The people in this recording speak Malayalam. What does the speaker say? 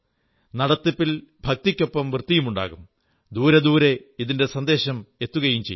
നടത്തിപ്പിൽ ഭക്തിക്കൊപ്പം വൃത്തിയുമുണ്ടാകും ദൂരെ ദൂരെ ഇതിന്റെ സന്ദേശം എത്തുകയും ചെയ്യും